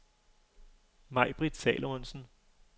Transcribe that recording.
Majbritt Salomonsen